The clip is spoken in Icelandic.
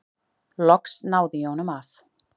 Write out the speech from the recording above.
Loks náði ég honum af.